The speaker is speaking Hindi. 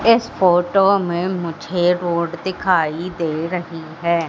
इस फोटो में मुझे रोड दिखाई दे रही हैं।